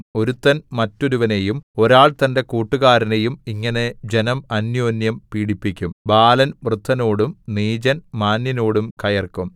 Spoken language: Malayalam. ഒരുത്തൻ മറ്റൊരുവനെയും ഒരാൾ തന്റെ കൂട്ടുകാരനെയും ഇങ്ങനെ ജനം അന്യോന്യം പീഡിപ്പിക്കും ബാലൻ വൃദ്ധനോടും നീചൻ മാന്യനോടും കയർക്കും